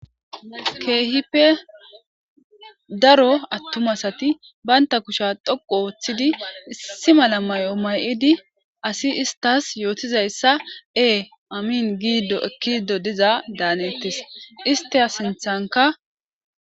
keehipe daro attum asati baynta kusha dhoqu ooththidi issi mala mayo may'idi asi istas yootizayssa ee amiin gido ekkido diza daanettis ista sinthanka